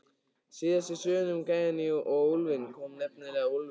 Síðast í sögunni um gæjann og úlfinn kom nefnilega úlfur.